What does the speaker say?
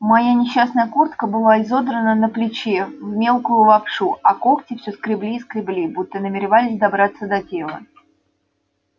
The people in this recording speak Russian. моя несчастная куртка была изодрана на плече в мелкую лапшу а когти всё скребли и скребли будто намеревались добраться до тела